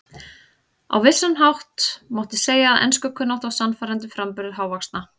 Á vissan hátt mátti segja að enskukunnátta og sannfærandi framburður hávaxna